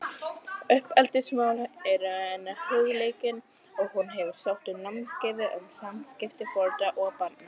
Uppeldismál eru henni hugleikin og hún hefur sótt námskeið um samskipti foreldra og barna.